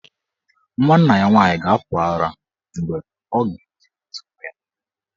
Nwanna ya nwaanyị ga-apụ ara mgbe ọ ga-eji ntị nụ ya.